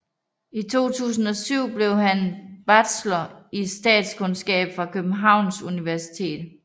I 2007 blev han bachelor i statskundskab fra Københavns Universitet